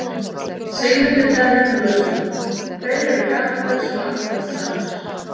Sigmundur Davíð Gunnlaugsson: Hverjir eru gamaldags og afturhaldssamir?